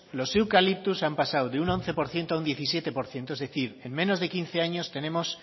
los eucaliptus han pasado de un once por ciento a un diecisiete por ciento es decir en menos de quince años tenemos